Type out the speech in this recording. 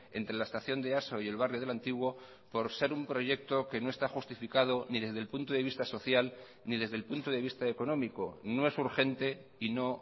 entre la estación de easo y el barrio de el antiguo por ser un proyecto que no está justificado ni desde el punto de vista social ni desde el punto de vista económico no es urgente y no